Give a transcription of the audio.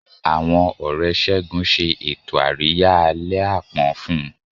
Àwọn Ọ̀rẹ́ Segun ṣe ètò àríyá àlẹ́ àpọ́n fún un.